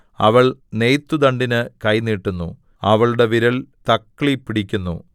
അവൾ നെയ്ത്തുദണ്ഡിന് കൈ നീട്ടുന്നു അവളുടെ വിരൽ തക്ളി പിടിക്കുന്നു